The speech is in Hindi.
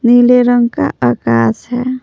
नीले रंग का आकाश है।